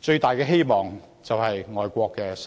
最大的希望就是外國的新藥。